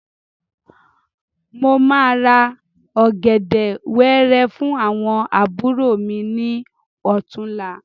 Mo máa ra ọ̀gẹ̀dẹ̀ wẹẹrẹ fún àwọn àbúrò mi ní ọ̀túnla.